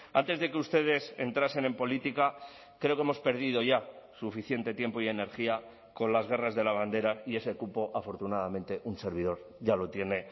antes de que ustedes entrasen en política creo que hemos perdido ya suficiente tiempo y energía con las guerras de la bandera y ese cupo afortunadamente un servidor ya lo tiene